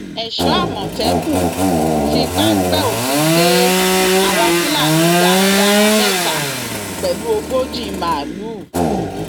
èso àmọtẹkùn fi páńpẹ òfin gbé àwọn fúlàní darandaran mẹta pẹlú ogójì màálùú